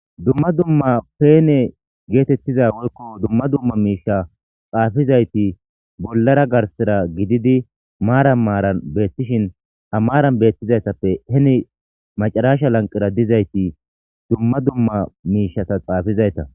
Dumma dumma peene geetettiza woykko dumma dumma miisha xaafizayti bollara garsera gididi maara maaran beettishin amaaran beettizaytappe heni macaraasha lanqira dizayti dumma dumma miishata xaafizayta.